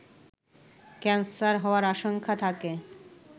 cancer হওয়ার আশঙ্কা থাকে